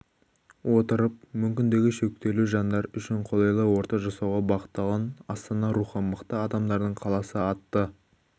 отырып жж мүмкіндігі шектеулі жандар үшін қолайлы орта жасауға бағытталған астана-рухы мықты адамдардың қаласы атты